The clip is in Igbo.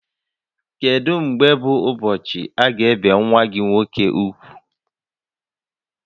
Kedu mgbe bụ ụbọchị aga ebi nwa gị nwoke úgwù?